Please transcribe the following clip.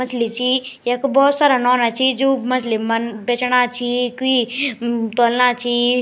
मछली ची यख भौत सारा नौना छी जू मछली मन बैचना छी कुई तौलना छी।